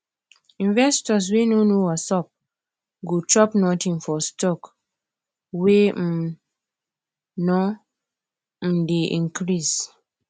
investors wey nor know wassup go chop nothing for stock wey um nor um dey increase